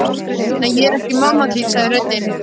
Nei, ég er ekki mamma þín sagði röddin.